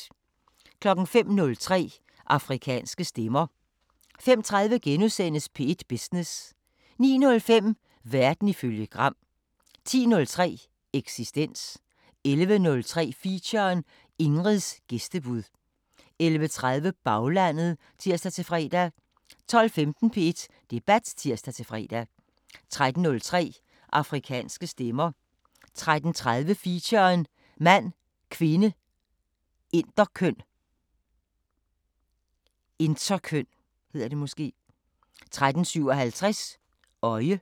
05:03: Afrikanske Stemmer 05:30: P1 Business * 09:05: Verden ifølge Gram 10:03: Eksistens 11:03: Feature: Ingrids gæstebud 11:30: Baglandet (tir-fre) 12:15: P1 Debat (tir-fre) 13:03: Afrikanske Stemmer 13:30: Feature: Mand, kvinde, interkøn 13:57: Øje